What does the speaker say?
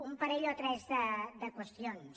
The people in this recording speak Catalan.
un parell o tres de qüestions